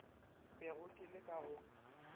bego ke le ka go